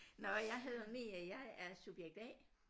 Nåh jeg hedder Mie jeg er subjekt A